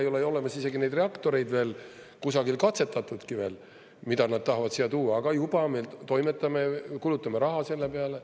Ei ole ju olemas isegi neid reaktoreid veel, kusagil katsetatudki veel, mida nad tahavad siia tuua, aga juba me toimetame, kulutame raha selle peale.